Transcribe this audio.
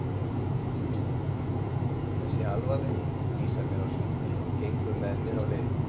Þessi alvarlegi vísar mér á sundið og gengur með mér á leið.